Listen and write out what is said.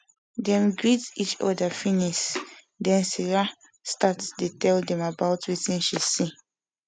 dem greet each oda finis den sarah start dey tell dem about wetin she see